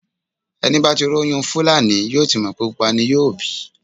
Ẹni bá tí róyún Fúlàní yóò ti mọ̀ pé pupa ni yóò bí.